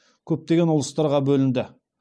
бір орталыққа бағынған мемлекет болмады